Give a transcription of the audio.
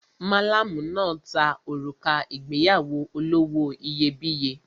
Malamu náà ta òrùka ìgbéyàwó olówó iyebíye.